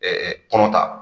kɔnɔ ta